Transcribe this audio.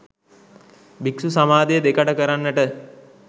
භික්‍ෂු සමාජය දෙකඩ කරන්නට